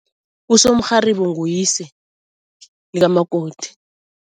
Usomrharibo nguyise likamakoti.